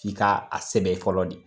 Ki ka a sɛbɛn fɔlɔ de.